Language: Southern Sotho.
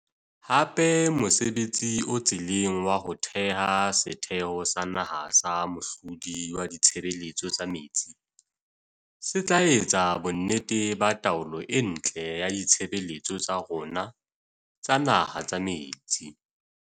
Hape mosebtsi o tseleng wa ho theha Setheho sa Naha sa Mohlodi wa Ditshebeletso tsa Metsi se tla etsa bonnete ba taolo e ntle ya ditshebeletso tsa rona tsa naha tsa metsi.